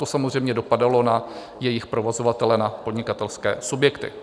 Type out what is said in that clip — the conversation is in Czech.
To samozřejmě dopadalo na jejich provozovatele, na podnikatelské subjekty.